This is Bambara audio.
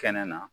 Kɛnɛ na